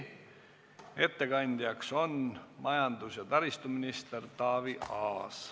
Ettekandja on majandus- ja taristuminister Taavi Aas.